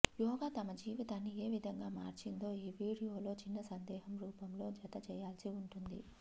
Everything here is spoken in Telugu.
యోగా తమ జీవితాన్ని ఏ విధంగా మార్చిందో ఈ వీడియోలో చిన్న సందేశం రూపంలో జత చేయాల్సి ఉంటుంది